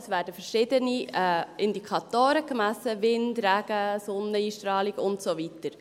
Es werden verschiedene Indikatoren gemessen, Wind, Regen, Sonneneinstrahlung und so weiter.